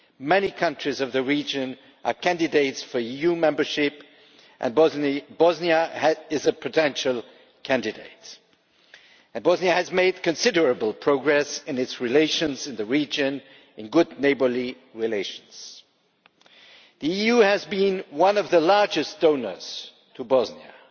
Many countries of the region are candidates for EU membership, and Bosnia is a potential candidate. Bosnia has made considerable progress in its relations in the region good neighbourly relations. The EU has been one of the largest donors to Bosnia,